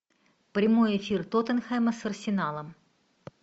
прямой эфир тоттенхэма с арсеналом